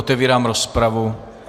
Otevírám rozpravu.